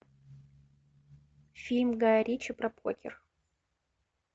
фильм гая ричи про покер